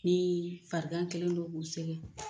Ni farigan kɛlen don k'u sɛgɛn